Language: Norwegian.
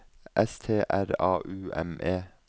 S T R A U M E